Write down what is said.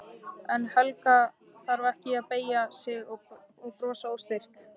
En Helga þarf ekki að beygja sig og brosa óstyrk.